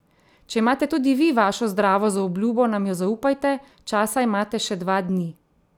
Če imate tudi vi vašo zdravo zaobljubo nam jo zaupajte, časa imate še dva dni!